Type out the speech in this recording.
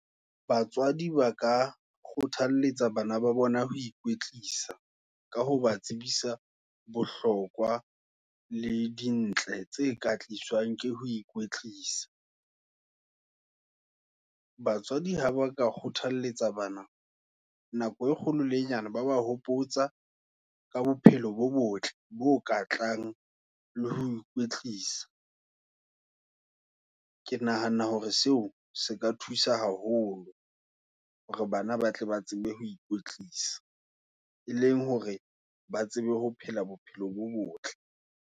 Batswadi ba ka kgothalletsa, bana ba bona ho ikwetlisa, ka ho ba tsebisa bohlokwa, le dintle, tse ka ke ho ikwetlisa. Batswadi ha ba ka kgothalletsa bana, nako e kgolo le nyane, ba ba hopotsa, ka bophelo bo botle, bo ka tlang, le ho ikwetlisa. Ke nahana hore seo, se ka thusa haholo. Hore bana ba tle ba tsebe ho ikwetlisa, e leng hore ba tsebe, ho phela bophelo bo botle.